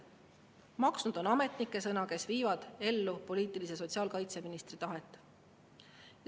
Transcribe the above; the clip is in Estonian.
Maksnud on ametnike sõna, kes viivad ellu poliitilise sotsiaalkaitseministri tahet.